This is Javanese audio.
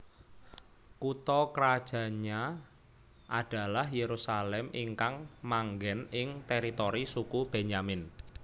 Kutha krajannya adalah Yerusalem ingkang manggen ing teritori suku Benyamin